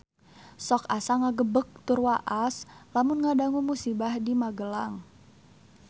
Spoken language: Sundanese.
Sok asa ngagebeg tur waas lamun ngadangu musibah di Magelang